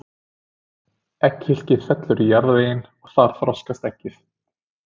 Egghylkið fellur í jarðveginn og þar þroskast eggið.